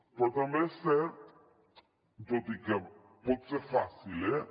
però també és cert tot i que pot ser fàcil eh